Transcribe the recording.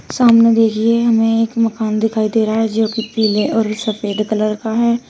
सामने देखिए हमें एक मकान दिखाई दे रहा है जो कि पीले और सफेद कलर का है।